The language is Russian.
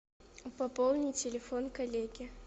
пополни телефон коллеги